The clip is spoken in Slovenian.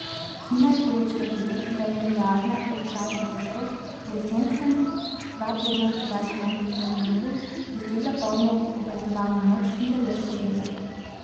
Hina je poročala tudi, da je Nuklearna elektrarna Krško po jesenskem dva tedna podaljšanem remontu dosegla polno obratovalno moč in deluje stabilno.